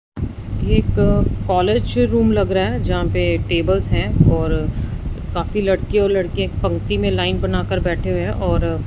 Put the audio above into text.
एक college room लग रहा है जहां पे टेबल्स हैं और काफी लड़की और लड़के एक पंक्ति में लाइन बनाकर बैठे हुए हैं और--